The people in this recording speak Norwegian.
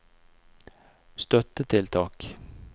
støttetiltak